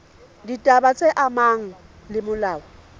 ditaba tse amanang le molao